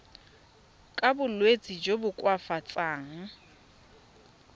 ka bolwetsi jo bo koafatsang